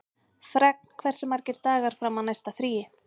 Fregn, hversu margir dagar fram að næsta fríi?